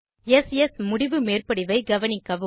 s S முடிவு மேற்படிவை கவனிக்கவும்